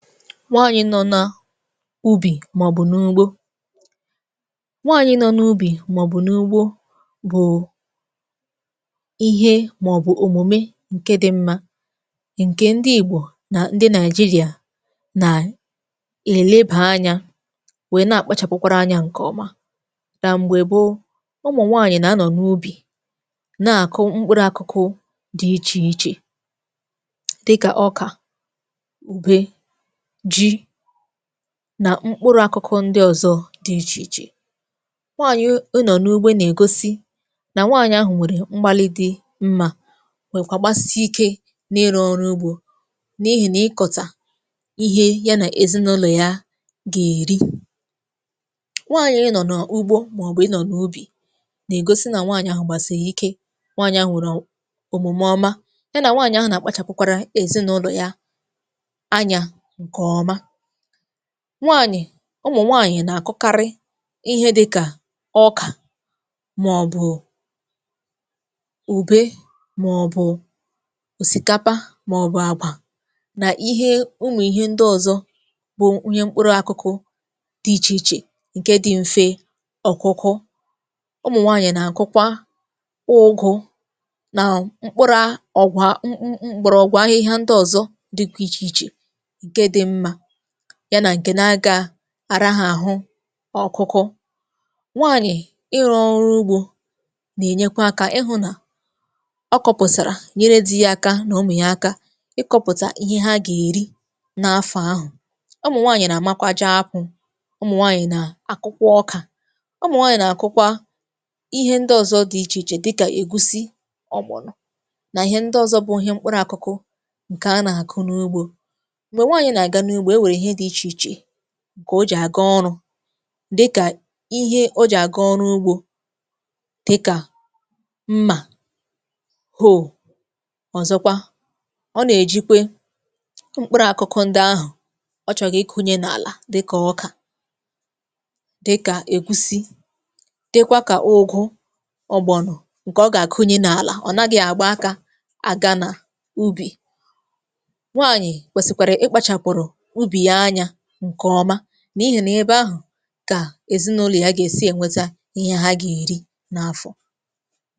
Nwaanyị nọ na ubì maọ̀bụ̀ n’ugbo. Nwaanyị nọ n’ubì maọ̀bụ̀ n’ugbo bụ̀ ihe maọ̀bụ̀ omume ǹke dị mmȧ, ǹke ndị igbò nà ndị nàịjịrịà nà èlebà anya wee na-akpachàpụkwara anya ǹkè ọma. Ná m̀gbè gboo, ụmụ̀ nwaanyị̀ nà-anọ̀ n’ubì, na-akụ mkpụrụ akụkụ dị ichè ichè, dị kà ọkà, ùbe, ji nà mkpụrụ akụkụ ndị ọ̀zọ dị̇ ichè ichè. Nwaànyị̀ ịnọ̀ n’ugbo nà-ègosi nà nwaànyị̀ ahụ̀ nwèrè mgbalị dị̇ mmȧ, wèkwà gbasii ike n’ịrụ̇ ọrụ ugbȯ, n’ihì nà ịkọ̀tà ihe ya nà èzinụlọ̀ ya gà-èri. Nwaànyị̀ ịnọ̀ n’ugbo, mà ọbụ̀ ịnọ̀ n’ubì, nà-ègosi nà nwaànyị̀ ahụ̀ gbàsighì ike, nwaànyị̀ ahụ̀ nwèrè òmume ọma, ya nà nwaànyị̀ ahụ̀ nà-àkpachàpụkwara èzinụlọ̀ ya ányá nke ọma. Nwaànyị̀, ụmụ̀ nwaànyị̀ nà-àkụkarị ihe dị̇ kà ọkà, màọbụ̀ ùbe, màọbụ̀ òsìkapa, màọbụ̀ àgwà, nà ihe ụmụ̀ ihe ndị ọ̀zọ bụ ihe mkpụrụ àkụkụ dị ichè ichè, ǹke dị̇ mfe ọ̀kụkụ. Ụmụ̀ nwaànyị̀ nà-àkụkwa ụgụ̇ nà mkpụrụ̇ a ọ̀gwà m m m mkpọrọgwu ahịhịa ndị ọ̀zọ dị ichè ichè nke dị mma, ya nà ǹkè na-agà àraha àhụ ọ̀kụkụ. Nwaànyị̀ ịrụ ọrụ ugbȯ nà-ènyekwa akȧ ịhụ̇ nà ọ kọ̀pụ̀sàrà nyere di̇ ya aka nà ụmụ̀ ya aka ịkọ̇pụ̀tà ihe ha gà-èri n’afọ̀ ahụ̀. Ụmụ̀ nwaànyị̀ nà-àmakwa jee apụ̀, ụmụ̀ nwaànyị̀ nà akụkwà ọkà, ụmụ̀ nwaànyị̀ nà àkụkwa ihe ndị ọ̀zọ dị ichè ichè dị kà ègusi, ọgbọ̀no nà ihe ndị ọ̀zọ bụ ihe mkpụrụ àkụkụ ǹkè a nà-àkụ n’ugbȯ. Mgbe nwanyị na-aga n'ugbo, enwere ihe dị iche iche ǹkè o jì àga ọrụ̇, dị ka ihe o jì àga ọrụ ugbȯ dịkà mmà, ọ̀zọkwa ọ nà-èjikwe mkpụrụ̇ àkụkụ ndị ahụ̀ ọ chọ̀gị̀ ikunye n’àlà dị kà, ọkà, dị kà ègusị, dịkwa kà ụgụ, ọ̀gbọ̀nọ ǹkè ọ gà-àkunye n’àlà. Ọ̀ nagị̇ àgba akȧ àga nà ubì. Nwaanyị kwesịkwara ikpachapụrụ ubi ya anya nke ọma, n’ihì nà eba ahụ̀ kà èzinàụlọ̀ ya gà-èsi ènweta ihe ha gà-èri n’afọ̀.